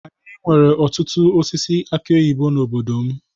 Anyị nwere ọtụtụ osisi aki oyibo n'obodo m.